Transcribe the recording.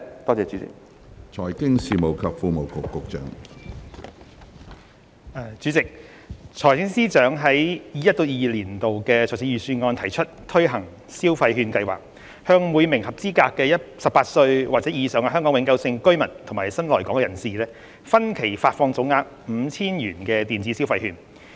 主席，財政司司長在 2021-2022 年度財政預算案提出推行消費券計劃，向每名合資格的18歲或以上香港永久性居民及新來港人士，分期發放總額 5,000 元的電子消費券。